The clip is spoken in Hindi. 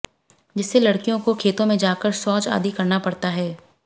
जिससे लड़कियों को खेतों मे जाकर शौच आदि करना पड़ता है